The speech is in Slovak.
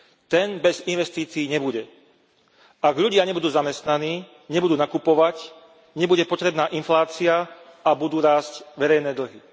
Ten bez investícií nebude. Ak ľudia nebudú zamestnaní, nebudú nakupovať, nebude potrebná inflácia a budú rásť verejné dlhy.